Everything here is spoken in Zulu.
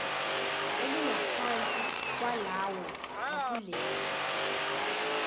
elingaphansi kwalawo akuleli